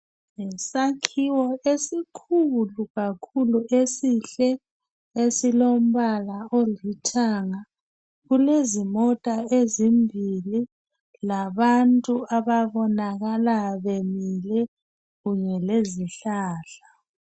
Isakhiwo esikhulu kakhulu esihle esilombala olithanga, kulezimota ezimbili labantu ababonakala bemile kunye lezihlahla.